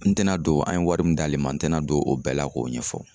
N tɛ na don an ye wari mun d'ale ma, n tɛ na don o bɛɛ la k'o ɲɛfɔ.